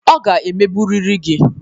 Ọ ga-emegburiri gị.